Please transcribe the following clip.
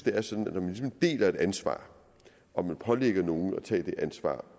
er sådan at et ansvar og pålægger nogen at tage det ansvar